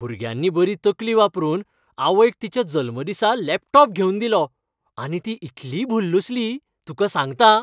भुरग्यांनी बरी तकली वापरून आवयक तिच्या जल्मदिसा लॅपटॉप घेवन दिलो, आनी ती इतली भुल्लुसली, तुका सांगतां.